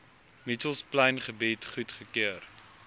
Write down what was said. mitchells plaingebied goedgekeur